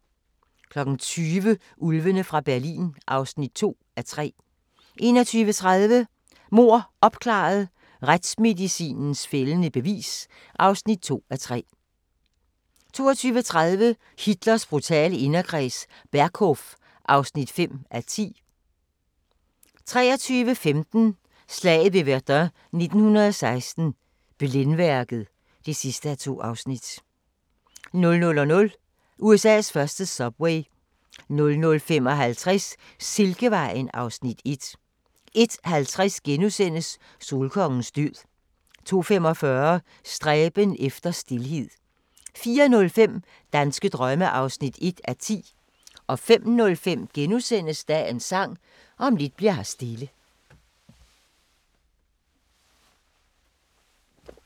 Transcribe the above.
20:00: Ulvene fra Berlin (2:3) 21:30: Mord opklaret – Retsmedicinens fældende bevis (2:3) 22:20: Hitlers brutale inderkreds – Berghof (5:10) 23:15: Slaget ved Verdun 1916 – Blændværket (2:2) 00:00: USA's første subway 00:55: Silkevejen (Afs. 1) 01:50: Solkongens død * 02:45: Stræben efter stilhed 04:05: Danske drømme (1:10) 05:05: Dagens Sang: Om lidt bli'r her stille *